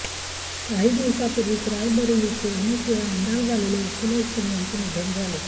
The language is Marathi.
काही दिवसांपुर्वीच रायबरेलीचे अनेकवेळा आमदार झालेले अखिलेश सिंग यांचे निधन झाले